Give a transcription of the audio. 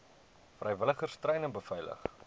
vrywilligers treine beveilig